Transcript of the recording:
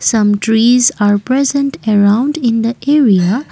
some trees are present around in the area.